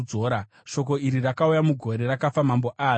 Shoko iri rakauya mugore rakafa Mambo Ahazi richiti: